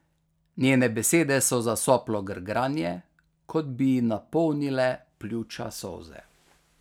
Njene besede so zasoplo grgranje, kot bi ji napolnile pljuča solze.